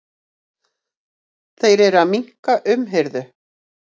Þeir eru að minnka umhirðu.